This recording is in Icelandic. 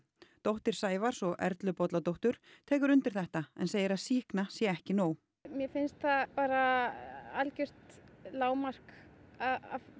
dóttir Sævars og Erlu Bolladóttur tekur undir þetta en segir að sýkna sé ekki nóg mér finnst það bara algjört lágmark að